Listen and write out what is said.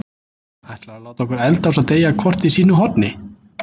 Ætlarðu að láta okkur eldast og deyja hvort í sínu horni?